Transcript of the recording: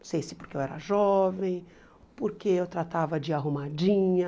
Não sei se porque eu era jovem, porque eu tratava de ir arrumadinha.